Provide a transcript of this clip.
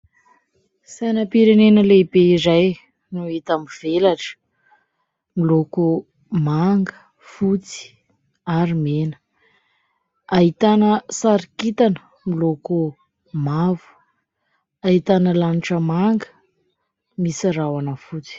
Sainam-pirenena lehibe iray no hita mivelatra, miloko : manga, fotsy ary mena. Ahitana sary kintana miloko mavo, ahitana lanitra manga misy rahona fotsy.